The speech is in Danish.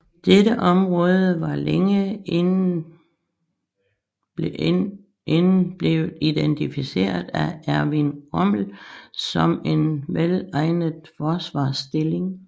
Dette område var længe inden blevet identificeret af Erwin Rommel som en velegnet forsvarsstilling